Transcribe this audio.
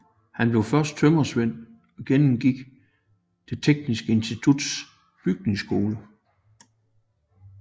Han blev først tømrersvend og gennemgik Det Tekniske Instituts bygningsskole